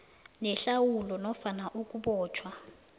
nehlawulo nofana ukubotjhwa